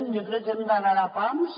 jo crec que hem d’anar a pams